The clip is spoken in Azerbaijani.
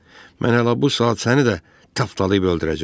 Mən hələ bu saat səni də tapdalayıb öldürəcəm.